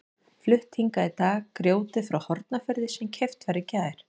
Flutt hingað í dag grjótið frá Hornafirði sem keypt var í gær.